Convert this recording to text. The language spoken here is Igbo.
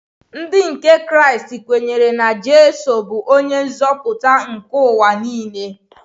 Ndị nke Kraịst kwenyere na Jizọs bụ onye nzọpụta nke ụwa nile.